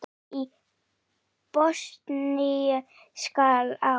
Stríðið í Bosníu skall á.